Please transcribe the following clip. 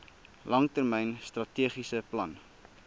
langtermyn strategiese plan